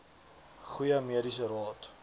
goeie mediese raad